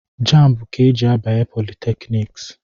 Jambu ka e ji abanye politekniks